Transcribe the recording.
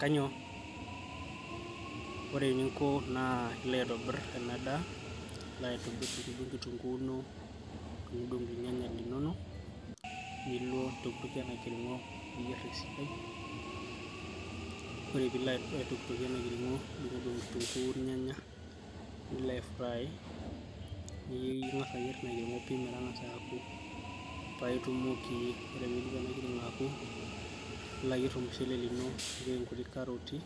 Kanyio ore eninko naa ilo aitobirr ena daa ilo aitobi adung'udung kitunguu ino nidung'udung ilnyanya linono nilo nintokitokie ena kirng'o niyierr esidai ore piilo ae aitokitokie ena kirng'o idung'udung kitunguu irnyanya nilo ae fry niing'as ayierr ina kirng'o pii metang'asa aku paitumoki ore piidip ena kirng'o aku nilo ayierr ormushele lino nipik inkuti karoti